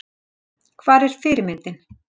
Hvar er fyrirmyndin?